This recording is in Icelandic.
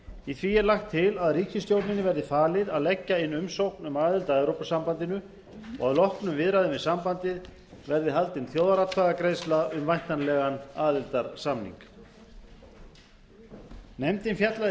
í því er lagt til að ríkisstjórninni verði falið að leggja inn umsókn um aðild að evrópusambandinu og að loknum viðræðum við sambandið verði haldin þjóðaratkvæðagreiðsla um væntanlegan aðildarsamning nefndin fjallaði